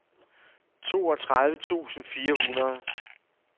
toogtredive tusind fire hundrede